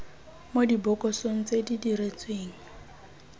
mo dibokosong tse di diretsweng